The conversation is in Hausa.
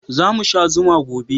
Za mu sha zuma gobe